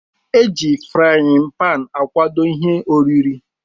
Eji frain pan akwado ihe oriri.